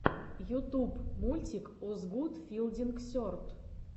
ютуб мультик озгуд филдинг серд